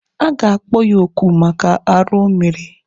A ga-akpọ ya oku maka arụ o mere.